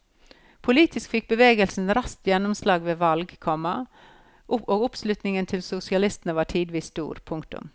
Politisk fikk bevegelsen raskt gjennomslag ved valg, komma og oppslutningen til sosialistene var tidvis stor. punktum